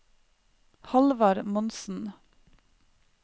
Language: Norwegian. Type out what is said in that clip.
Halvard Monsen